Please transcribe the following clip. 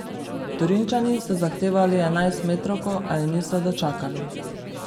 Torinčani so zahtevali enajstmetrovko, a je niso dočakali.